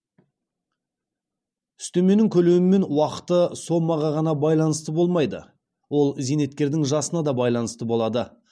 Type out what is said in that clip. үстеменің көлемі мен уақыты сомаға ғана байланысты болмайды ол зейнеткердің жасына да байланысты болады